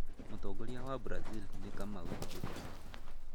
Mũtongoria wa Brazil nĩ Kamau Gikonyo.